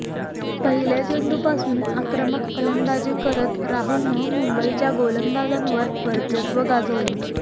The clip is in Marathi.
पहिल्या चेंडूपासून आक्रमक फलंदाजी करत राहुलनं मुंबईच्या गोलंदाजांवर वर्चस्व गाजवलं